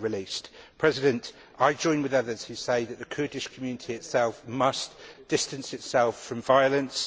released. I join with others who say that the Kurdish community itself must distance itself from violence